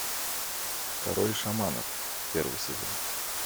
король шаманов первый сезон